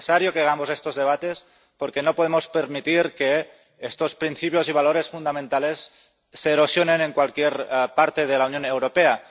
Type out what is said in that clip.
Es necesario que hagamos estos debates, porque no podemos permitir que estos principios y valores fundamentales se erosionen en cualquier parte de la Unión Europea.